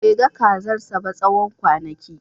Bai ga kazarsa ba tsawon kwanaki